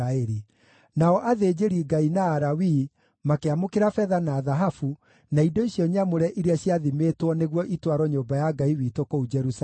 Nao athĩnjĩri-Ngai na Alawii makĩamũkĩra betha na thahabu, na indo icio nyamũre iria ciathimĩtwo nĩguo itwarwo nyũmba ya Ngai witũ kũu Jerusalemu.